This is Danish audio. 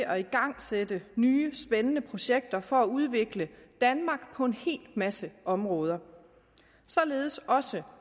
at igangsætte nye og spændende projekter på for at udvikle danmark på en hel masse områder således også